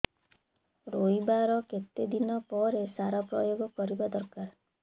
ରୋଈବା ର କେତେ ଦିନ ପରେ ସାର ପ୍ରୋୟାଗ କରିବା ଦରକାର